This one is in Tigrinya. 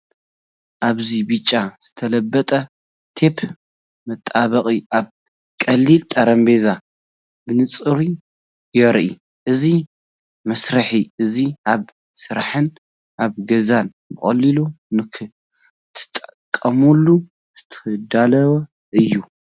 ኣብዚ ብጫ ዝተለበጠ ቴፕ መጣበቂ ኣብ ቀሊል ጠረጴዛ ብንጹር ይርአ። እዚ መሳርሒ እዚ ኣብ ስራሕን ኣብ ገዛን ብቐሊሉ ንኽትጥቀመሉ ዝተዳለወ እዩ።